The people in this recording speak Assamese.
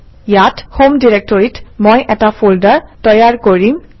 ইয়াত হম ডিৰেক্টৰীত মই এটা ফল্ডাৰ তৈয়াৰ কৰিম